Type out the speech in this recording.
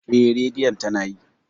Eh, Radiyon tana yi.